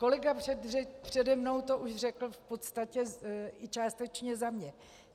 Kolega přede mnou to už řekl v podstatě i částečně za mě.